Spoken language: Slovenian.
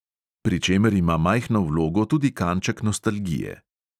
Pri čemer ima majhno vlogo tudi kanček nostalgije.